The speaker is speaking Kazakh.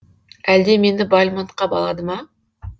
әлде мені бальмонтқа балады ма